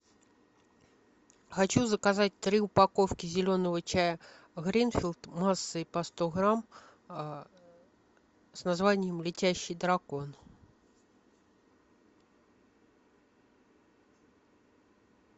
хочу заказать три упаковки зеленого чая гринфилд массой по сто грамм с названием летящий дракон